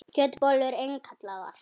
Kjötbollur innkallaðar